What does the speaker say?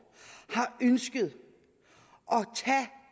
har ønsket